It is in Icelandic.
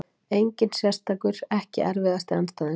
Engin sérstakur EKKI erfiðasti andstæðingur?